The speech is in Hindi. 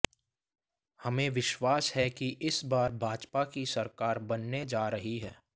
हमें विश्वास है कि इस बार भाजपा की सरकार बनने जा रही है